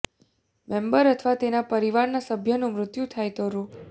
member અથવા તેના પરિવારના સભ્યનું મૃત્યુ થાય તો રૂ